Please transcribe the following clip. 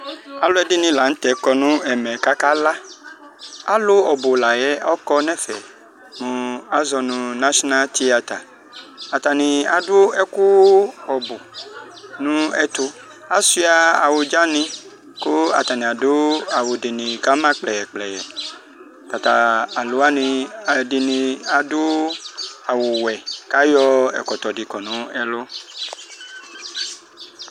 Alʋ ɛdini lanʋ tɛ kɔnʋ ɛmɛ kʋ akala alʋ ɔbʋ layɛ kɔnʋ ɛfɛ kʋ azɔnʋ nashina tiyata atani adʋ ɛkʋ ɔbʋ nʋ ɛtʋ asuia awʋdzani kʋ atani adʋ awʋdini kʋ ama kplɛyɛ kplɛyɛ atatʋ alʋ wani ɛdini adʋ awʋwɛ kʋ ayɔ ɛkɔtɔdi kɔ nʋ ɛlʋ